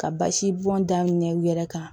Ka basi bɔn da ɲɛ u yɛrɛ kan